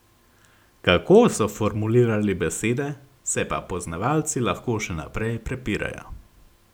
Kako so formulirali besede, se pa poznavalci lahko še naprej prepirajo.